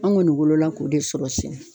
An kɔni wolola k'o de sɔrɔ sen